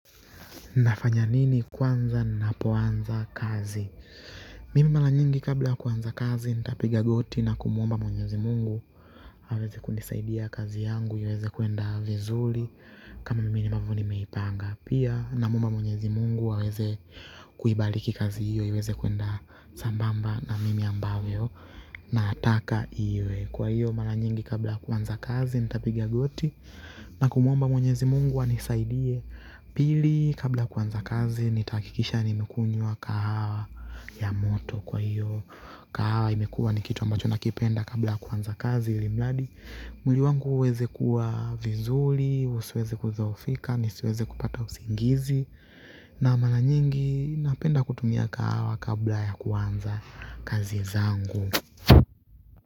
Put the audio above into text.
Nafanya nini kwanza ninapoanza kazi? Mimi mara nyingi kabla ya kuanza kazi, nitapiga goti na kumuomba Mwenyezi Mungu. Aweze kunisaidia kazi yangu iweze kwenda vizuri kama mimi ambavyo nimeipanga. Pia namwomba Mwenyezi Mungu aweze kuibariki kazi hiyo, iweze kwenda sambamba na mimi ambavyo nataka iwe. Kwa hiyo mara nyingi kabla ya kuanza kazi nitapiga goti na kumwomba Mwenyezi Mungu anisaidie. Pili, kabla ya kuanza kazi nitahakikisha nimekunywa kahawa ya moto. Kwa hiyo kahawa imekuwa ni kitu ambacho ninakipenda kabla ya kuanza kazi ilimradi mwili wangu uweze kuwa vizuri, usiweze kudhoofika, nisiweze kupata usingizi na mara nyingi napenda kutumia kahawa kabla ya kuanza kazi zangu.